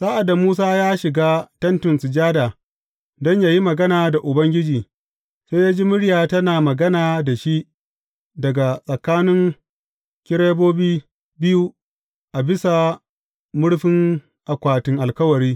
Sa’ad da Musa ya shiga Tentin Sujada don yă yi magana da Ubangiji, sai ya ji murya tana magana da shi daga tsakanin kerubobi biyu a bisa murfin akwatin Alkawari.